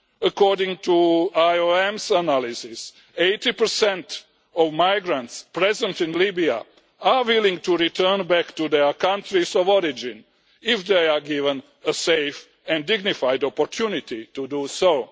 according to IOM's analysis, 80 of migrants present in Libya are willing to return back to their countries of origin if they are given a safe and dignified opportunity to do so.